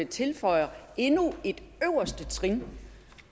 tilføjer endnu et øverste trin